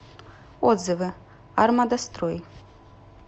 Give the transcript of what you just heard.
отзывы армадастрой